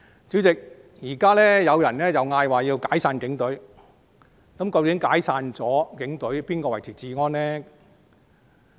主席，現在有人提出解散警隊，那警隊解散後，誰維持治安呢？